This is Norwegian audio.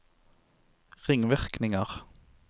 ringvirkninger